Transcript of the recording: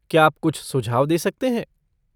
क्या आप कुछ सुझाव दे सकते हैं?